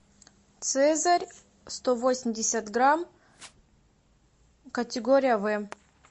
цезарь сто восемьдесят грамм категория в